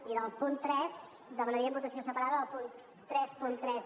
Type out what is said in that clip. i del punt tres demanaríem votació separada del punt trenta tres